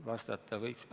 Vastata võiks ...